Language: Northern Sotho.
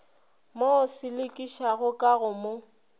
mo selekišago ka go mo